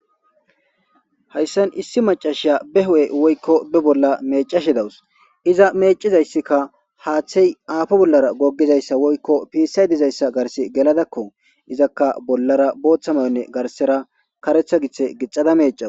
hayssan issi macashiya be ho7e woykko be bolla mecashe dawus iza meecizayssikka haaththey aafo bollara goggizayssa woykko piissay dizayssa garse geladakko izakka bollara booththamayonne garsera karetha githe gixada meecaa